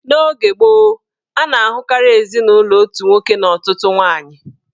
N'oge gboo, a na-ahụkarị ezinụlọ otu nwoke na ọtụtụ nwaanyị